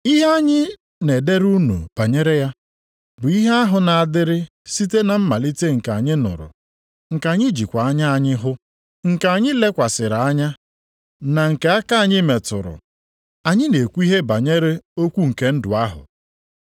Ihe anyị na-edere unu banyere ya bụ ihe ahụ na-adịrị site na mmalite, nke anyị nụrụ, nke anyị jikwa anya anyị hụ, nke anyị lekwasịrị anya, na nke aka anyị metụrụ. Anyị na-ekwu ihe banyere Okwu nke ndụ ahụ.